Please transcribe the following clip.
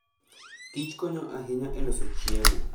Kich konyo ahinya e loso chiemo.